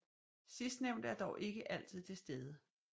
Sidstnævnte er dog ikke altid til stede